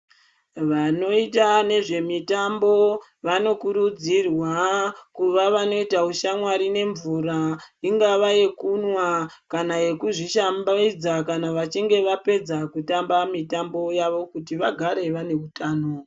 Vanoita nezvemitambo vanokurudzirwa kuva vanoita ushamwari nemvura, ingava yekunwa kana yekuzvishambidza kana vachinge vapedza kutamba mitambo yavo kuti vagare vane utano.